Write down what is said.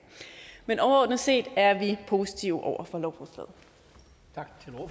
men overordnet set er vi positive over for